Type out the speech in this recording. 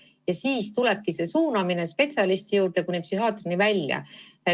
Ja siis ta suunataksegi spetsialisti juurde kuni psühhiaatrini välja.